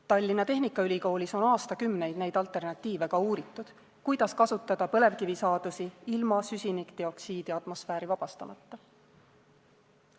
Tallinna Tehnikaülikoolis on aastakümneid neid alternatiive ka uuritud, kuidas kasutada põlevkivisaadusi ilma süsinikdioksiidi atmosfääri vabastamata.